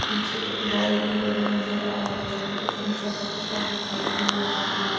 पीछे एक बाल भी पड़ी नजर आ रही है एक ऊंचा पत्थर दिखाई दे रहा है।